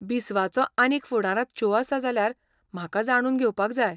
बिस्वाचो आनीक फुडारांत शो आसा जाल्यार म्हाका जाणून घेवपाक जाय.